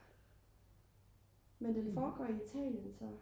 men den foregår i Italien så?